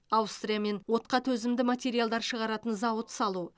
аустриямен отқа төзімді материалдар шығаратын зауыт салу